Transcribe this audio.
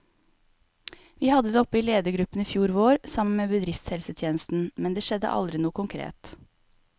Vi hadde det oppe i ledergruppen i fjor vår, sammen med bedriftshelsetjenesten, men det skjedde aldri noe konkret.